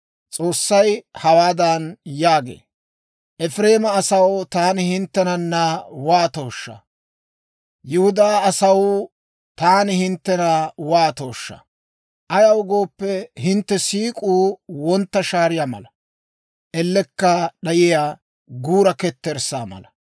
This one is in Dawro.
S'oossay hawaadan yaagee; «Efireema asaw, taani hinttena waatooshsha! Yihudaa asaw, taani hinttena waatooshsha! Ayaw gooppe, hintte siik'uu wontta shaariyaa mala; ellekka d'ayiyaa guura ketterssaa mala.